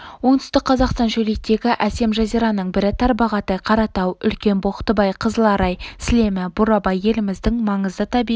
оңтүстік қазақстан шөлейттегі әсем жазираның бірі тарбағатай қаратау үлкен боқтыбай қызыларай сілемі бурабай еліміздің маңызды табиғи